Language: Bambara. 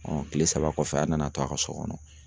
kile saba kɔfɛ a nana to a ka so kɔnɔ